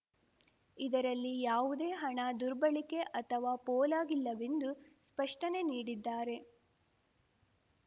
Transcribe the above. ಇದರಲ್ಲಿ ಯಾವುದೇ ಹಣ ದುರ್ಬಳಕೆ ಅಥವಾ ಪೋಲಾಗಿಲ್ಲವೆಂದು ಸ್ಪಷ್ಟನೆ ನೀಡಿದ್ದಾರೆ